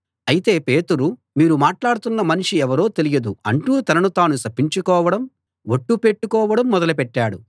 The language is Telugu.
అయితే పేతురు మీరు మాట్లాడుతున్న మనిషి ఎవరో తెలియదు అంటూ తనను తాను శపించుకోవడం ఒట్టు పెట్టుకోవడం మొదలుపెట్టాడు